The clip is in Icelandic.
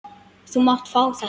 Þú mátt fá þetta.